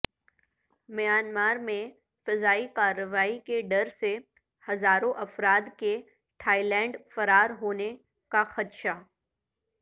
میانمارمیں فضائی کارروائیوں کے ڈر سے ہزاروں افراد کے تھائی لینڈ فرار ہونے کا خدشہ